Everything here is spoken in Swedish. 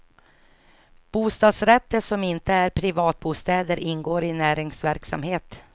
Bostadsrätter som inte är privatbostäder ingår i näringsverksamhet.